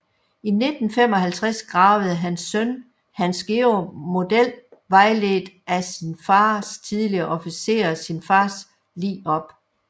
I 1955 gravede hans søn Hansgeorg Model vejledt af sin fars tidligere officerer sin fars lig op